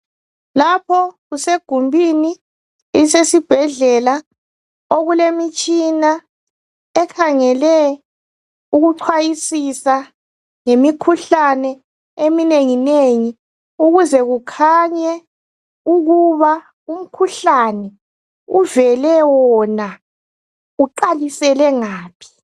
Lapho kusegumbini lesibhedlela okulemitshina ekhangele ukuchwayisisa yimikhuhlane eminengi nengi ukuze kukhanye ukuba umkhuhlane uvele wona uqalisele ngaphi.